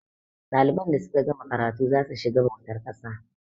ɗaliban da suka gama karatu za su shiga bautar ƙasa